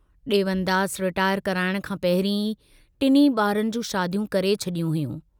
Devandas retire कराइण खां पहिरीं ई टिन्हीं बारनि जूं शादियूं करे छड़ियूं हुयूं।